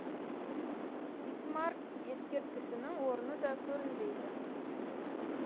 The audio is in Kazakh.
бисмарк ескерткішінің орны да көрінбейді